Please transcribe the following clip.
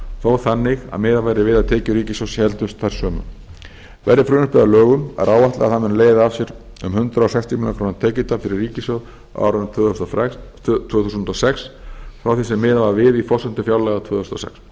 þó þannig að miðað verði við að tekjur ríkissjóðs héldust þær sömu verði frumvarpið að lögum er áætlað að það muni leiða af sér um hundrað sextíu milljónir króna tekjutap fyrir ríkissjóð á árinu tvö þúsund og sex frá því sem miðað var við í forsendum fjárlaga tvö þúsund og